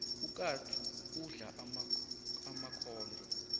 ukatsu udla emakhondlo